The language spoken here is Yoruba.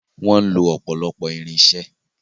Wọ́n ń lo ọ̀pọ̀lọpọ̀ irinṣẹ́.